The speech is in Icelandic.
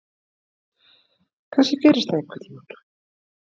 Kannski gerist það einhvern tíma.